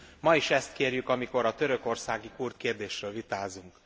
Ma is ezt kérjük, amikor a törökországi kurd kérdésről vitázunk.